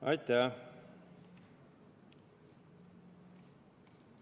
Aitäh!